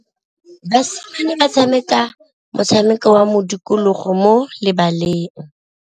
Basimane ba tshameka motshameko wa modikologô mo lebaleng.